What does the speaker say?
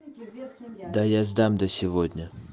да я сдам до сегодня